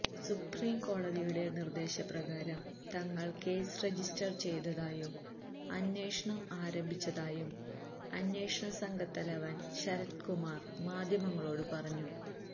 സുപ്രിംകോടതിയുടെ നിര്ദ്ദേശപ്രകാരം തങ്ങള് case register ചെയ്തതായും അന്വേഷണം ആരംഭിച്ചതായും അന്വേഷണസംഘത്തലവന് ശരത്കുമാര് മാധ്യമങ്ങളോട് പറഞ്ഞു